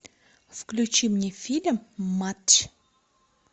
включи мне фильм матч